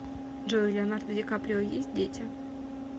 джой у леонардо ди каприо есть дети